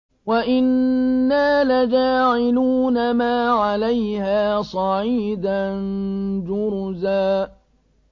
وَإِنَّا لَجَاعِلُونَ مَا عَلَيْهَا صَعِيدًا جُرُزًا